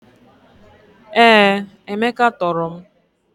Ee, Emeka toro m.